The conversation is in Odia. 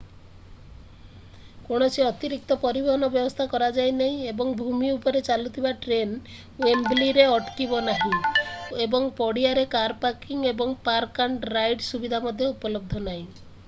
କୌଣସି ଅତିରିକ୍ତ ପରିବହନ ବ୍ୟବସ୍ଥା କରାଯାଇ ନାହିଁ ଏବଂ ଭୂମି ଉପରେ ଚାଲୁଥିବା ଟ୍ରେନ୍ ୱେମ୍ବଲିରେ ଅଟକିବ ନାହିଁ ଏବଂ ପଡ଼ିଆରେ କାର୍ ପାର୍କିଂ ଏବଂ ପାର୍କ ଆଣ୍ଡ ରାଇଡ୍ ସୁବିଧା ମଧ୍ୟ ଉପଲବ୍ଧ ନାହିଁ